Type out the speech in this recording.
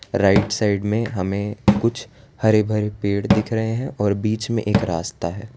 Right side में हमें कुछ हरे भरे पेड़ दिख रहे हैं और बीच में एक रास्ता है।